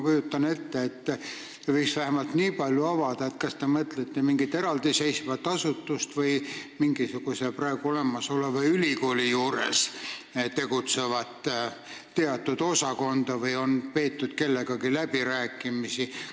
Te võiksite vähemalt nii palju avada, kas te mõtlete mingit eraldiseisvat asutust või mingisuguse praegu olemasoleva ülikooli juures tegutsevat teatud osakonda või on peetud kellegagi läbirääkimisi.